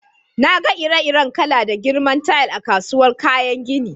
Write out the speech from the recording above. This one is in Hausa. Na gan ire-iren kala da girman tayal a'kasuwan kayan ginin.